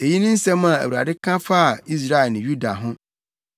Eyi ne nsɛm a Awurade ka faa Israel ne Yuda ho: